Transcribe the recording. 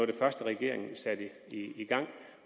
det første regeringen satte i gang